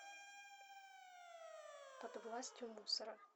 под властью мусора